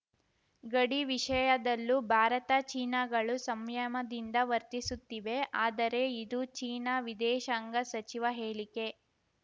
ಗಡಿ ವಿಷಯದಲ್ಲೂ ಭಾರತ ಚೀನಾಗಳು ಸಂಯಮದಿಂದ ವರ್ತಿಸುತ್ತಿವೆ ಆದರೆ ಇದು ಚೀನಾ ವಿದೇಶಾಂಗ ಸಚಿವ ಹೇಳಿಕೆ